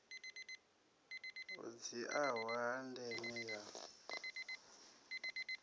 ho dziaho ha ndeme ya